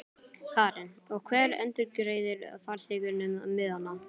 Karen: Og hver endurgreiðir farþegunum miðana?